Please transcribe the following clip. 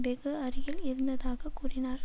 வெகு அருகில் இருந்ததாக கூறினார்